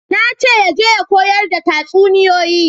Na ce ya je ya koyar da tatsuniyoyi